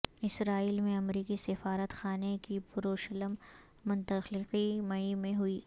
اسرائیل میں امریکی سفارت خانے کی یروشلم منتقلی مئی میں ہوگی